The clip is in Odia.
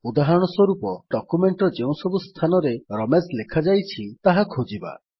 ଉଦାହରଣ ସ୍ୱରୂପ ଡକ୍ୟୁମେଣ୍ଟ୍ ର ଯେଉଁ ସବୁ ସ୍ଥାନରେ ରମେଶ ଲେଖାଯାଇଛି ତାହା ଖୋଜିବା